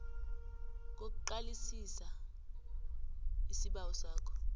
kokuqalisisa isibawo sakho